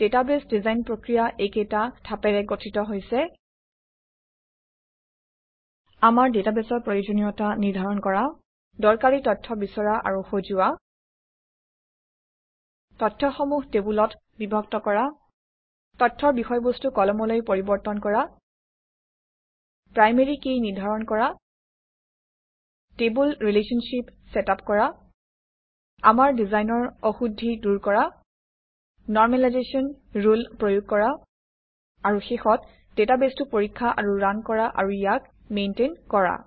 database design প্ৰক্ৰিয়া এইকেইটা ধাপেৰে গঠিত হৈছে - আমাৰ ডাটাবেছৰ প্ৰয়োজনীয়তা নিৰ্ধাৰণ কৰা দৰকাৰী তথ্য বিচৰা আৰু সজোৱা তথ্যসমূহ টেবুলত বিভক্ত কৰা তথ্যৰ বিষয়বস্তু কলমলৈ পৰিৱৰ্তন কৰা প্ৰাইমেৰী কী নিৰ্ধাৰণ কৰা টেবুল ৰিলেশ্বনশ্বিপ চেটআপ কৰা আমাৰ ডিজাইনৰ অশুদ্ধি দূৰ কৰা নৰমেলাইজেশ্যন ৰুল প্ৰয়োগ কৰা আৰু শেষত ডাটাবেছটো পৰীক্ষা আৰু ৰান কৰা আৰু ইয়াক মেইনটেইন কৰা